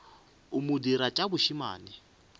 a mo dira tša bošemane